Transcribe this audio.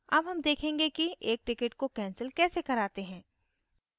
अब हम देखेंगे कि एक ticket को cancel कैसे कराते हैं